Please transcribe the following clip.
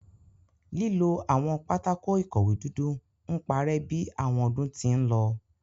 Lilo awọn pátákó-ikọwe dudu n parẹ bi awọn ọdun ti nlọ